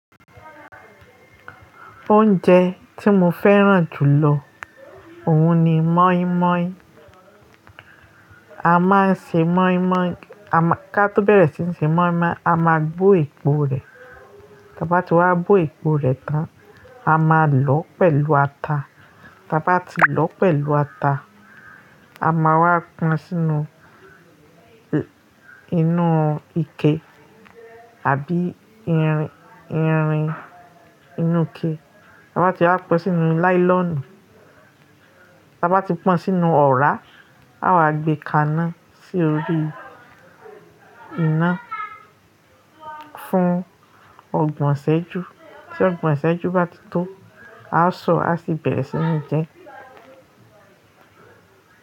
Oúnjẹ tí mo fẹ́ràn jù lọ òun ni mọ́ímọ́í. A máa ń ṣe mọ́ímọ́í, ká tó bẹ̀rẹ̀ sí ní ṣe mọ́ímọ́í a máa gbó èpo rẹ̀. Bá tí wá gbó èpo rẹ̀ tán, a máa lọ́ọ pẹ̀lú ata. Bá ti lọ́ọ pẹ̀lú ata, a máa wá pọn sínú inú ike àbí irin inú ike. Bá ti wá pọn sínú láílọ̀nù. Bá ti pọn sínú ọ̀rá, a wá gbe kàná sí orí iná fún ọgbọ̀n sẹ́jú. Tí ọgbọ̀n sẹ́jú bá ti tó, a ó sọ, a sì bẹ̀rẹ̀ sí ní jẹ.